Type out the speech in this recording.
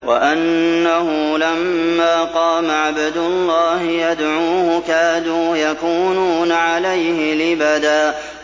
وَأَنَّهُ لَمَّا قَامَ عَبْدُ اللَّهِ يَدْعُوهُ كَادُوا يَكُونُونَ عَلَيْهِ لِبَدًا